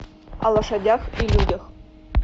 о лошадях и людях